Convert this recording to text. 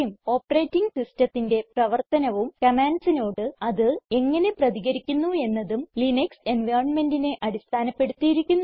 operating സിസ്റ്റത്തിന്റെ പ്രവർത്തനവും commandsനോട് അത് എങ്ങനെ പ്രതികരിക്കുന്നു എന്നതും ലിനക്സ് environmentനെ അടിസ്ഥാനപ്പെടുത്തിയിരിക്കുന്നു